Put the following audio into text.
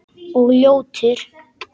Og ljótur.